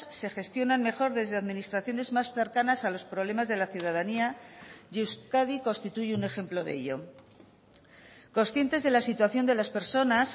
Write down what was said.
se gestionan mejor desde administraciones más cercanas a los problemas de la ciudadanía y euskadi constituye un ejemplo de ello conscientes de la situación de las personas